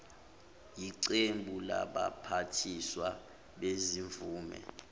yeqembu labaphathiswa bezimvume